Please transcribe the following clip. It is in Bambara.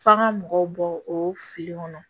F'an ga mɔgɔw bɔ o fili kɔnɔ